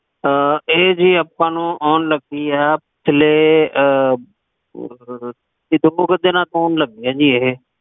ਹਾਂ ਇਥੇ ਜੀ ਆਪਾ ਨੂੰ ਆਉਣ ਲਗੀ ਆ ਆਉਣ ਲਗੀ ਆ ਜੀ ਏਹੇ